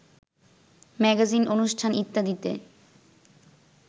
magazine অনুষ্ঠান ইত্যাদিতে